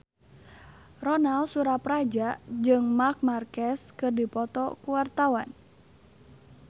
Ronal Surapradja jeung Marc Marquez keur dipoto ku wartawan